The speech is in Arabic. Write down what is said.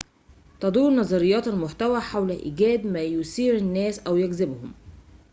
تدور نظريات المحتوى حول إيجاد ما يثير الناس أو يجذبهم